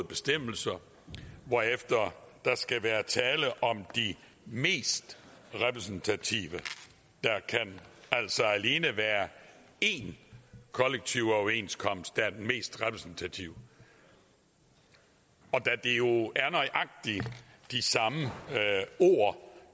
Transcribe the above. bestemmelser hvorefter der skal være tale om de mest repræsentative der kan altså alene være én kollektiv overenskomst der er den mest repræsentative og da det jo er nøjagtig de samme ord